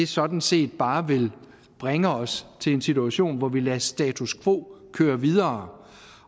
sådan set bare vil bringe os til en situation hvor vi lader status quo køre videre